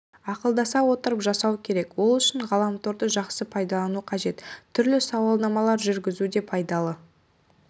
ақылдаса отырып жасау керек ол үшін ғаламторды жақсы пайдалану қажет түрлі сауалнамалар жүргізу де пайдалы